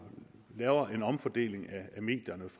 det